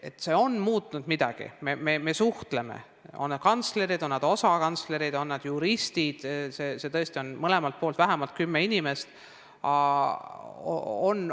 See on midagi muutnud, me suhtleme, on need kantslerid, on need asekantslerid, on need juristid, tõesti on mõlemalt poolt vähemalt kümme inimest.